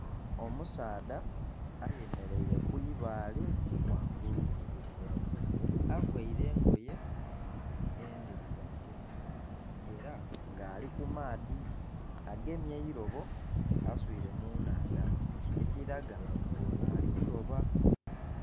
Omusaadha ayemereire kwi baale ghangulu avaire engoye endhirugavu era nga ali ku maadhi agemye eirobo aswiire mu nhandha ekiraga nga ono ali kuloba.